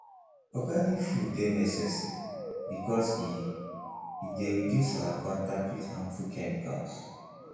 organic food dey necessary because e e dey reduce our contact with harmful chemicals